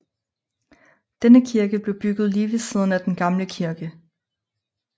Denne kirke blev bygget lige ved siden af den gamle kirke